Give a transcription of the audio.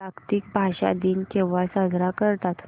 जागतिक भाषा दिन केव्हा साजरा करतात